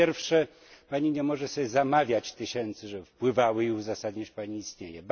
Po pierwsze, Pani nie może sobie zamawiać tysięcy, żeby wpływały, i uzasadniać Pani istnienie.